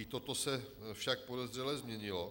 I toto se však podezřele změnilo.